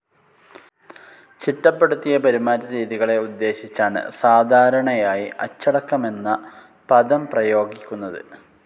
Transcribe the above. ചിട്ടപ്പെടുത്തിയ പെരുമാറ്റരീതികളെ ഉദ്ദേശിച്ചാണ് സാധാരണയായി അച്ചടക്കമെന്ന പദം പ്രയോഗിക്കുന്നത്.